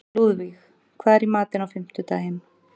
Lúðvíg, hvað er í matinn á fimmtudaginn?